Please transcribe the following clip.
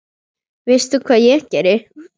Veistu hvað ég geri?